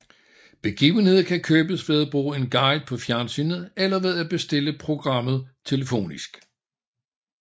Begivenheder kan købes ved at bruge en guide på fjernsynet eller ved at bestille programmet telefonisk